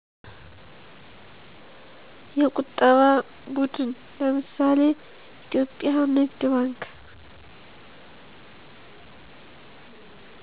የቁጠባ ቡድን ለምሳሌ ኢትዮጵያ ንግድ ባንክ